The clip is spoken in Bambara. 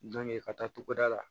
ka taa togoda la